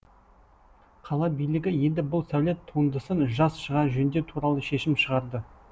қала билігі енді бұл сәулет туындысын жаз шыға жөндеу туралы шешім шығарды